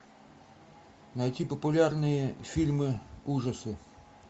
найти популярные фильмы ужасы